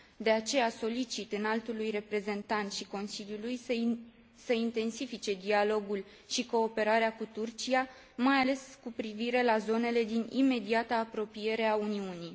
De aceea solicit Înaltului Reprezentant și Consiliului să intensifice dialogul și cooperarea cu Turcia, mai ales cu privire la zonele din imediata apropiere a Uniunii.